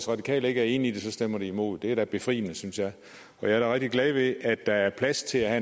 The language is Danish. radikale ikke er enige i det stemmer de imod det er da befriende synes jeg og jeg er da rigtig glad ved at der er plads til at